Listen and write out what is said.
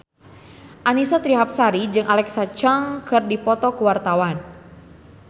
Annisa Trihapsari jeung Alexa Chung keur dipoto ku wartawan